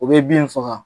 O bɛ bin faga